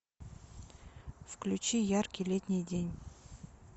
включи яркий летний день